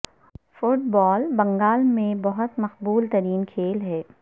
fit بال بنگال میں بہت مقوبل ترین کھیل ہے